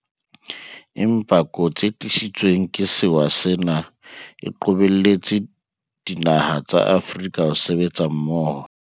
Empa kotsi e tlisitsweng ke sewa sena e qobelletse dinaha tsa Afrika ho sebetsa mmoho.